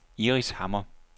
Iris Hammer